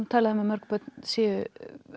talað um að mörg börn séu